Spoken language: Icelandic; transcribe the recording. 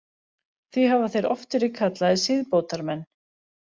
Því hafa þeir oft verið kallaðir siðbótarmenn.